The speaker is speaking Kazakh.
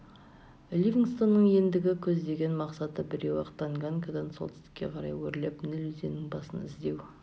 ливингстонның ендігі көздеген мақсаты біреу-ақ танганьикадан солтүстікке қарай өрлеп ніл өзенінің басын іздеу